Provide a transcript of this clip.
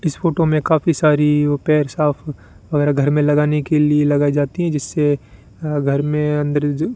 इस फोटो में काफी सारी ओ पैर साफ वगैरा घर में लगाने के लिए लगाई जाती है जिससे घर में अंदर जो --